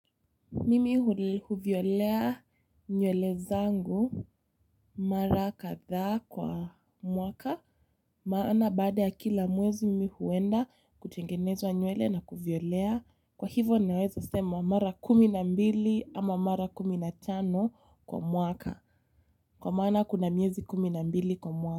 Mimi huviolea nywele zangu mara kadhaa kwa mwaka. Maana baada ya kila mwezi mimi huenda kutengenezwa nywele na kuviolea. Kwa hivyo naweza sema mara kumi na mbili ama mara kumi na tano kwa mwaka. Kwa maana kuna miezi kumi na mbili kwa mwaka.